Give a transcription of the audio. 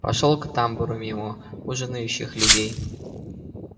пошёл к тамбуру мимо ужинающих людей